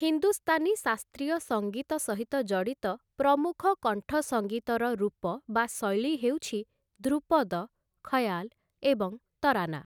ହିନ୍ଦୁସ୍ତାନୀ ଶାସ୍ତ୍ରୀୟ ସଙ୍ଗୀତ ସହିତ ଜଡ଼ିତ ପ୍ରମୁଖ କଣ୍ଠସଙ୍ଗୀତର ରୂପ ବା ଶୈଳୀ ହେଉଛି ଧ୍ରୁପଦ, ଖୟାଲ୍‌ ଏବଂ ତରାନା ।